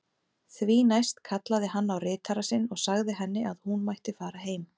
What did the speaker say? Því næst kallaði hann á ritara sinn og sagði henni að hún mætti fara heim.